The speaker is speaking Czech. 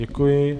Děkuji.